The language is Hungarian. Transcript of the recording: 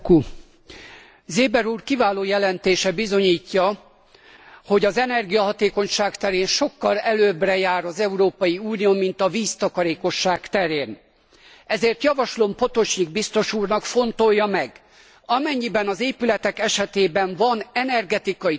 Seeber úr kiváló jelentése bizonyítja, hogy az energiahatékonyság terén sokkal előbbre jár az Európai Unió, mint a víztakarékosság terén, ezért javaslom Potočnik biztos úrnak, fontolja meg amennyiben az épületek esetében van energetikai tanúsítvány,